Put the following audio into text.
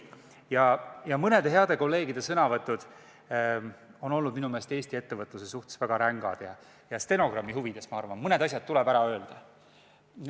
Mõne hea kolleegi sõnavõtud on minu meelest olnud Eesti ettevõtluse suhtes väga rängad ja stenogrammi huvides tuleb mul siin mõningad asjad välja öelda.